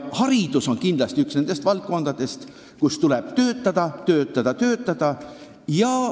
Haridus on kindlasti üks nendest valdkondadest, kus tuleb töötada, töötada ja töötada.